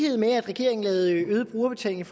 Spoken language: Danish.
den